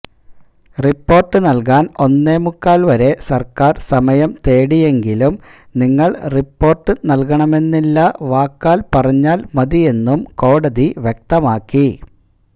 report നൽകാൻ ഒന്നേമുക്കാൽ വരെ സർക്കാർ സമയം തേടിയെങ്കിലും നിങ്ങൾ റിപ്പോര്ട് നൽകണമെന്നില്ല വാക്കാൽ പറഞാൽ മതിയെന്നും കോടതി വ്യക്തമാക്കി